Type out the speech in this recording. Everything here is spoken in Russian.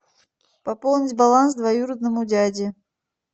пополнить баланс двоюродному дяде